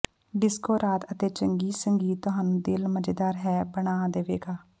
disco ਰਾਤ ਅਤੇ ਚੰਗੀ ਸੰਗੀਤ ਤੁਹਾਨੂੰ ਦਿਲ ਮਜ਼ੇਦਾਰ ਹੈ ਬਣਾ ਦੇਵੇਗਾ